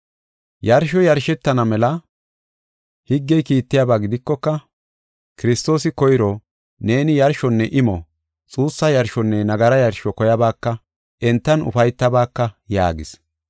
Yarshoy yarshetana mela higgey kiittiyaba gidikoka, Kiristoosi koyro, “Neeni yarshonne imo, xuussa yarshonne nagara yarsho koyabaaka; entan ufaytabaaka” yaagis.